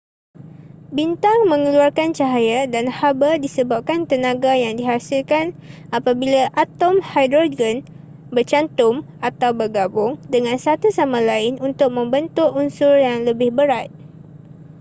bintang mengeluarkan cahaya dan haba disebabkan tenaga yang dihasilkan apabila atom hidrogen bercantum atau bergabung dengan satu sama lain untuk membentuk unsur yang lebih berat